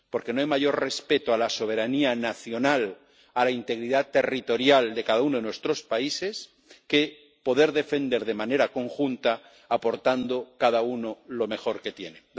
Porque no hay mayor respeto a la soberanía nacional, a la integridad territorial de cada uno de nuestros países, que poder defender de manera conjunta, aportando cada uno lo mejor que tiene.